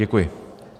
Děkuji.